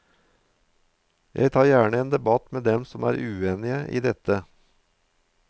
Jeg tar gjerne en debatt med dem som er uenige i dette.